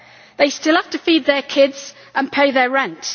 They still have to feed their kids and pay their rent.